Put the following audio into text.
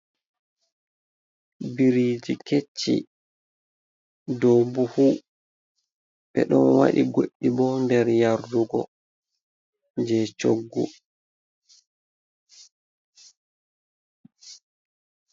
Biriji kecci ɗo buhu ɓe ɗon waɗi goɗɗi bo nder yardugo je choggu.